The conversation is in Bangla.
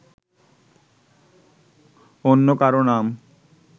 অন্য কারও নাম